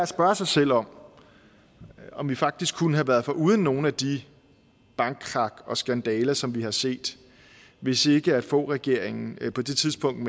spørge sig selv om om vi faktisk kunne have været foruden nogle af de bankkrak og skandaler som vi har set hvis ikke foghregeringen på det tidspunkt